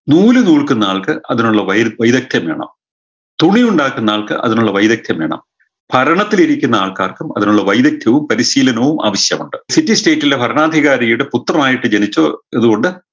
നൂല് കോൽക്കുന്ന ആൾക്ക് അതിനുള്ള വൈര വൈരക്ത്യം വേണം തുണിയുണ്ടാക്കുന്ന ആൾക്ക് അതിനുള്ള വൈരക്ത്യം വേണം ഭരണത്തിൽ ഇരിക്കുന്ന ആൾക്കാർക്കും അതിനുള്ള വൈദക്ത്യവും പരിശീലനവും ആവിശ്യമുണ്ട് city state ലെ ഭരണാധികാരിയുടെ പുത്രനായിട്ട് ജനിച്ചത് കൊണ്ട്